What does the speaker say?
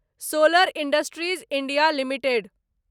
solar industries India limited